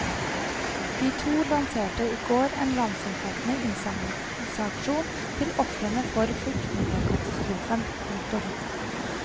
De to lanserte i går en landsomfattende innsamlingsaksjon til ofrene for flyktningekatastrofen. punktum